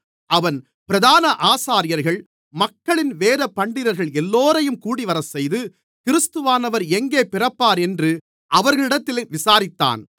அவன் பிரதான ஆசாரியர்கள் மக்களின் வேதபண்டிதர்கள் எல்லோரையும் கூடிவரச்செய்து கிறிஸ்துவானவர் எங்கே பிறப்பாரென்று அவர்களிடத்தில் விசாரித்தான்